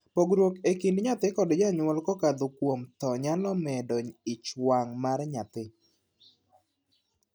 Pogruok e kind nyathi kod janyuol kokadho kuom thoo nyalo medo ich wang' mar nyathi.